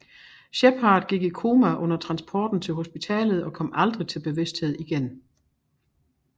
Shepard gik i koma under transporten til hospitalet og kom aldrig til bevidsthed igen